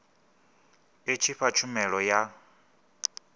i tshi fha tshumelo ya